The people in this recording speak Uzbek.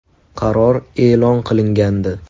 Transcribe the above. Qaror e’lon qilingandi.